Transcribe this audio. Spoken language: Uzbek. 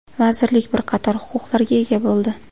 Vazirlik bir qator huquqlarga ega bo‘ldi.